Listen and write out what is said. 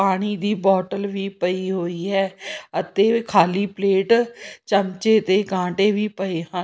ਪਾਣੀ ਦੀ ਬੋਟਲ ਵੀ ਪਈ ਹੋਈ ਹੈ ਅਤੇ ਖਾਲੀ ਪਲੇਟ ਚਮਚੇ ਤੇ ਕਾਂਟੇ ਵੀ ਪਏ ਹਨ।